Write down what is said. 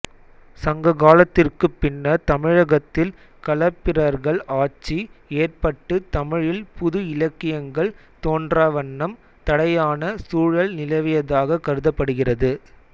சங்க காலத்திற்குப் பின்னர் தமிழகத்தில் களப்பிரர்கள் ஆட்சி ஏற்பட்டு தமிழில் புது இலக்கியங்கள் தோன்றாவண்ணம் தடையான சூழல் நிலவியதாகக் கருதப்படுகிறது